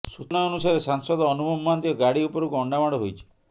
ସୂଚନା ଅନୁସାରେ ସାଂସଦ ଅନୁଭବ ମହାନ୍ତିଙ୍କ ଗାଡ଼ି ଉପରକୁ ଅଣ୍ଡାମାଡ଼ ହୋଇଛି